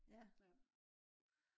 ja